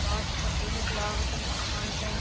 कांच को गेट लागरो है इ दूकान के।